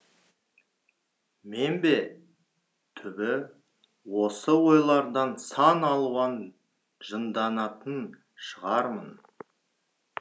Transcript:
мен бе түбі осы ойлардан сан алуанжынданатын шығармын